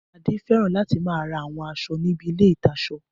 Adé fẹ́ràn láti máa ra àwọn aṣọ níbi ilé-ìtaṣọ